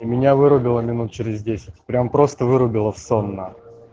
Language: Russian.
и меня вырубило минут через десять прямо просто вырубило в сон на